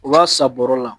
U b'a san bɔrɔ la